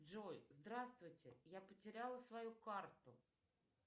джой здравствуйте я потеряла свою карту